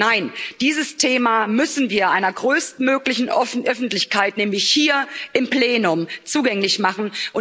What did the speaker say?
Nein, dieses Thema müssen wir einer größtmöglichen Öffentlichkeit, nämlich hier im Plenum, zugänglich machen.